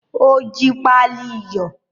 O jí pali iyọ̀.